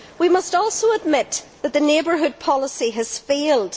We must also admit that the neighbourhood policy has failed.